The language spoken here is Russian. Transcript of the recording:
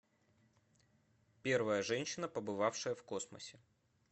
первая женщина побывавшая в космосе